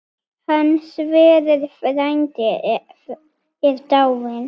Hann Sverrir frændi er dáinn.